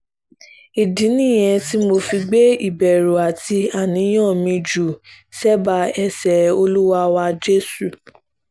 ìdí nìyẹn tí mo fi gbé ìbẹ̀rù àti àníyàn mi jù sẹ́bàá ẹsẹ olúwa wa jésù